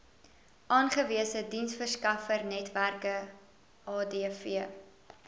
aangewese diensverskaffernetwerke adv